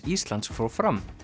Íslands fór fram